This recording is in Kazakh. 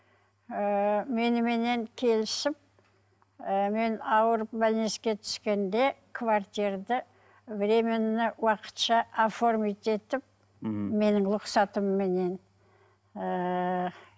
ыыы меніменен келісіп і мен ауырып түскенде квартирада временно уақытша оформить етіп мхм менің рұқсатыменен ыыы